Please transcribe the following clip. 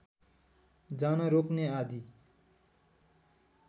जान रोक्ने आदि